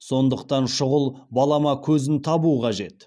сондықтан шұғыл балама көзін табу қажет